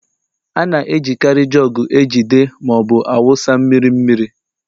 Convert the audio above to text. A na-ejikarị jugu ejide ma ọ bụ na-awụsa mmiri mmiri.